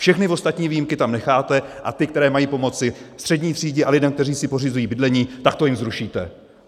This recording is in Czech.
Všechny ostatní výjimky tam necháte, a ty, které mají pomoci střední třídě a lidem, kteří si pořizují bydlení, tak to jim zrušíte!